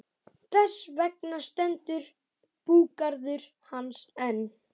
Þess vegna stendur búgarður hans enn.